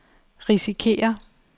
risikerer